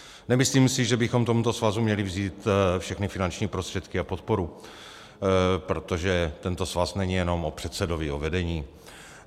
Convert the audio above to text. Nemyslím si, že bychom tomuto svazu měli vzít všechny finanční prostředky a podporu, protože tento svaz není jen o předsedovi, o vedení.